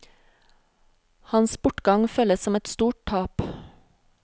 Hans bortgang føles som et stort tap.